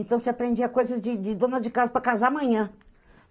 Então, você aprendia coisas de de dona de casa para casar amanhã.